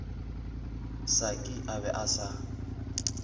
saki a be a sa